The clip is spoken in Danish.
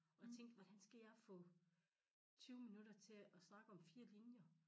Og jeg tænkte hvordan skal jeg få 20 minutter til at snakke om 4 linjer